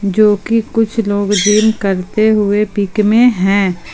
जो कि कुछ लोग जिम करते हुए पिक में है।